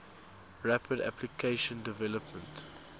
rapid application development